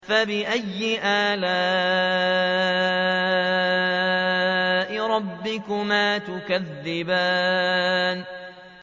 فَبِأَيِّ آلَاءِ رَبِّكُمَا تُكَذِّبَانِ